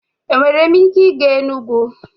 Enwere m ike ịga Enugwu?